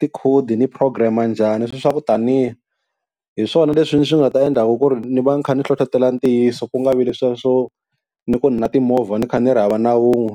tikhodi ni program-a njhani, sweswiya swa ku taniya. Hi swona leswi swi nga ta endlaka ku ri ni va ni kha ni hlohlotelo ntiyiso ku nga vi leswiya swo ni ku ni na timovha ni kha ni ri hava na wun'we.